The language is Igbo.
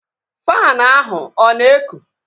Faanụ ahụ ọ na-ekụ?